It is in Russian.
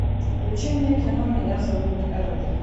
включи мне кино меня зовут эрл